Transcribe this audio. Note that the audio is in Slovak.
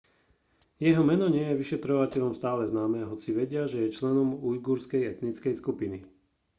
jeho meno nie je vyšetrovateľom stále známe hoci vedia že je členom ujgurskej etnickej skupiny